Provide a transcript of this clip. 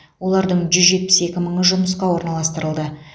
олардың жүз жетпіс екі мыңы жұмысқа орналастырылды